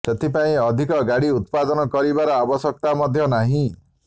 ସେଥିପାଇଁ ଅଧିକ ଗାଡ଼ି ଉତ୍ପାଦନ କରିବାର ଆବଶ୍ୟକତା ମଧ୍ୟ ନାହିଁ